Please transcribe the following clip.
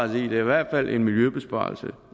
der i hvert fald en miljøbesparelse